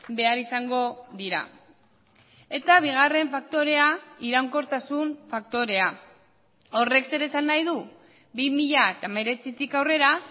behar izango dira eta bigarren faktorea iraunkortasun faktorea horrek zer esan nahi du bi mila hemeretzitik aurrera